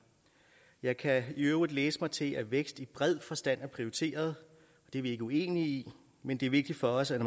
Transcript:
jeg kan i øvrigt læse mig til at vækst i bred forstand er prioriteret det er vi ikke uenige i men det er vigtigt for os at